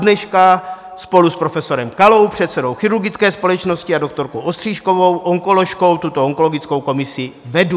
Dodneška spolu s profesorem Kalou, předsedou chirurgické společnosti, a doktorkou Ostřížkovou, onkoložkou, tuto onkologickou komisi vedu.